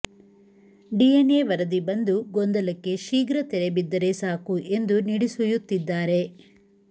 DNA ವರದಿ ಬಂದು ಗೊಂದಲಕ್ಕೆ ಶೀಘ್ರ ತೆರೆಬಿದ್ದರೆ ಸಾಕು ಎಂದು ನಿಡುಸುಯ್ಯತ್ತಿದ್ದಾರೆ